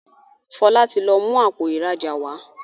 Fola tí lọ mú Àpò ìrajà wá.